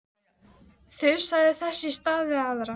Ellefu egg og tvenns konar krem.